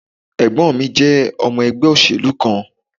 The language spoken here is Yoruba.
Ẹ̀gbọ́n mi jẹ́ ọmọ ẹgbẹ́ òṣèlú kan